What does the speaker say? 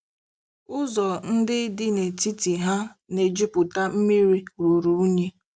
Ụzọ ndị dị n'etiti ha na-ejupụta mmiri ruru unyi.